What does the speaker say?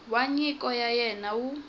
wa nyiko ya wena wu